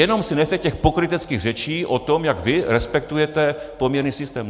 Jenom si nechte těch pokryteckých řečí o tom, jak vy respektujete poměrný systém.